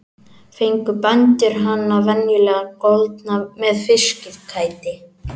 Fengu bændur hana venjulega goldna með fiskæti.